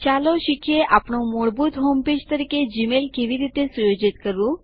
ચાલો શીખીએ આપણું મૂળભૂત હોમ પેજ તરીકે જીમેઇલ કેવી રીતે સુયોજિત કરવું